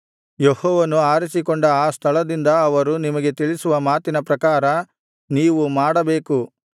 ಯೆಹೋವನು ಆರಿಸಿಕೊಂಡ ಆ ಸ್ಥಳದಿಂದ ಅವರು ನಿಮಗೆ ತಿಳಿಸುವ ಮಾತಿನ ಪ್ರಕಾರ ನೀವು ಮಾಡಬೇಕು ಅವರು ಬೋಧಿಸುವುದನ್ನೇ ನೀವು ಅನುಸರಿಸಬೇಕು